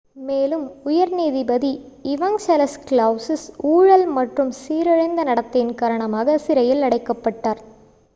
மேலும் உயர் நீதிபதி இவங்சலஸ் கலௌசிஸ் ஊழல் மற்றும் சீரழிந்த நடத்தையின் காரணமாக சிறையில் அடைக்கப்பட்டார்